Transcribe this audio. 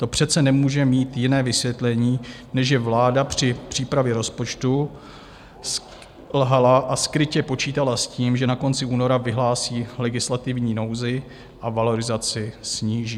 To přece nemůže mít jiné vysvětlení, než že vláda při přípravě rozpočtu selhala a skrytě počítala s tím, že na konci února vyhlásí legislativní nouzi a valorizaci sníží.